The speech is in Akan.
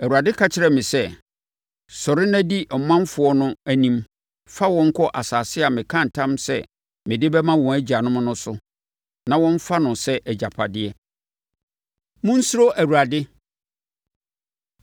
Awurade ka kyerɛɛ me sɛ, “Sɔre na di ɔmanfoɔ no anim fa wɔn kɔ asase a mekaa ntam sɛ mede bɛma wɔn agyanom no so na wɔmfa no sɛ agyapadeɛ.” Monsuro Awurade